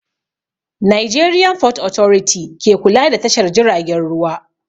Nigerian fort authority ke kula da tashar jiragen ruwa